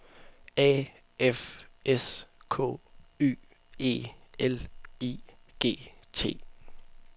A F S K Y E L I G T